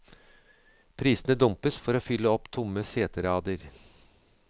Prisene dumpes for å fylle opp tomme seterader.